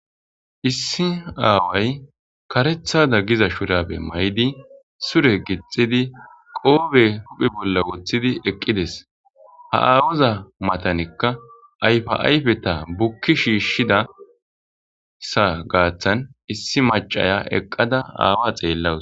Issi aaway karethada giza shurabe may'di sure gixidi qoobe huphi bolla woththidi eqqides ha aawuza matanikka ayfa7ayfe ta bukki shiishshidasa gaaththan issi macaya eqqada aawa xeellawus.